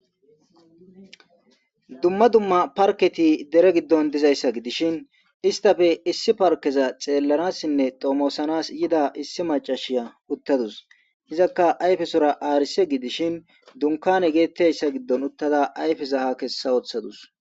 Dumma dumma parketi dere giddon dizayssa gidishin istafe issi parkeza xeellanassinne doomosanas yida issi macashiya uttadus hizakka ayfesora aarise gidishin dunkane geettayssa giddon uttada ayfesa ha kessa ooththadus.